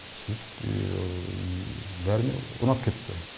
сөйтіп бәріне ұнап кетті